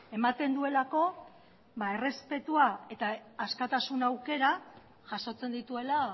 ematen duelako errespetua eta askatasun aukera jasotzen dituela